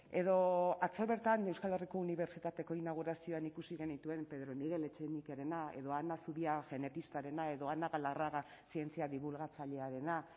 edo atzo bertan euskal herriko unibertsitateko inaugurazioan ikusi genituen pedro miguel etxenikerena edo ana zubia genetistarena edo ana galarraga zientzia dibulgatzailearena